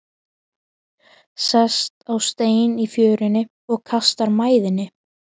Sest á stein í fjörunni og kastar mæðinni.